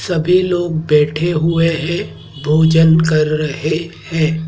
सभी लोग बैठे हुए हैं भोजन कर रहे हैं।